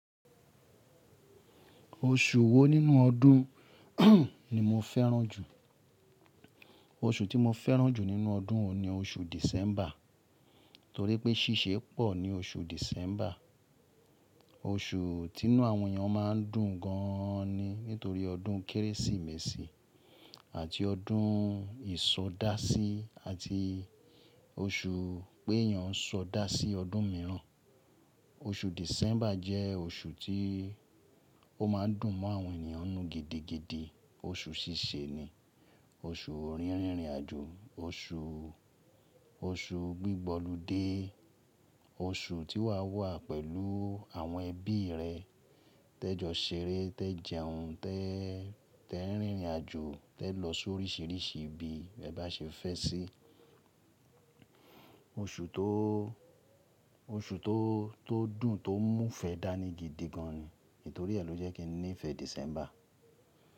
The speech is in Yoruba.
Oṣù wo nínú ọdún ni mo fẹ́ràn jù? Oṣù tí mo fẹ́ràn jù nínú ọdún ni oṣù December, torípé ṣíṣe pọ̀ ní oṣù December. Oṣù tínú àwọn èèyàn má ń dùn gan ni nítorí ọdún Kérésìmesì àti ọdún ìsọdásí àti oṣù pé èèyàn ń sọdásí ọdún mìíràn. Oṣù December jẹ́ oṣù tí ó ma ń dùn mọ́ àwọn ènìyàn nù gidigidi. Oṣù ṣíṣe ni, oṣù rìnrìn àjò, oṣù, oṣù gbígbọ́lù dé, oṣù tí wà wà pẹ̀lú àwọn ẹbí rẹ, tẹ jọ ṣeré, tẹ jẹun, tẹ, tẹ rìnrìn àjò, tẹ lọ sóríṣiríṣi ibi ẹ bá ṣe fẹ́ sí. Oṣù tó, oṣù tó dùn, tó mú fẹ́ dání gidi gan ni, nítorí ẹ̀ ló jẹ́ kí n nífẹ̀ẹ́ December.